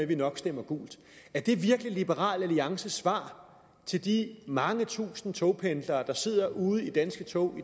vi nok stemmer gult er det virkelig liberal alliances svar til de mange tusinde togpendlere der sidder ude i de danske tog